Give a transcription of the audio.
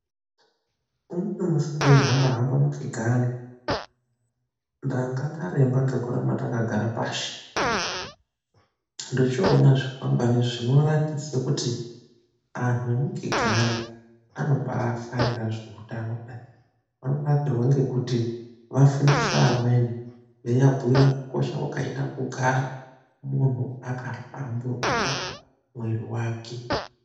Umweni musi ndeihamba hamba mu Kigali ndanga ndaremba ngekuramba ndakagara pashi, ndochoona zvikwangani zvinoratidza kuti antu emu Kigali anobaadakarira zveutano kudai ,vanonakirwa ngekuti vafundise vamweni, veivabhuira kukosha kwakaita kugara muntu akahlamburuka mwiri wake.